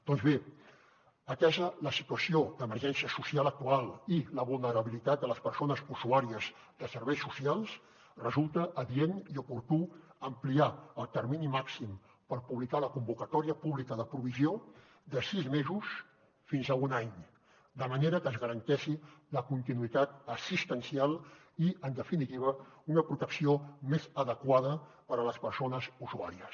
doncs bé atesa la situació d’emergència social actual i la vulnerabilitat de les persones usuàries de serveis socials resulta adient i oportú ampliar el termini màxim per publicar la convocatòria pública de provisió de sis mesos fins a un any de manera que es garanteixi la continuïtat assistencial i en definitiva una protecció més adequada per a les persones usuàries